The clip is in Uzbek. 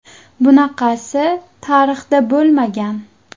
Bunaqasi tarixda bo‘lmagan.